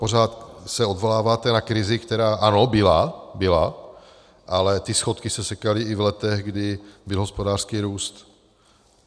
Pořád se odvoláváte na krizi, která ano, byla, byla, ale ty schodky se sekaly i v letech, kdy byl hospodářský růst.